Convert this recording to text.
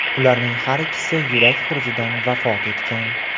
Ularning har ikkisi yurak xurujidan vafot etgan.